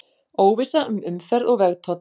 Óvissa um umferð og vegtoll